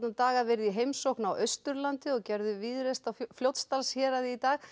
daga verið í heimsókn á Austurlandi og gerðu víðreist á Fljótsdalshéraði í dag